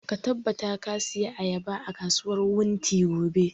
Ka tabbata ka saya ayaba a kasuwar wunti gobe!